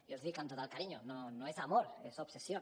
jo els hi dic amb tot el carinyo no es amor es obsesión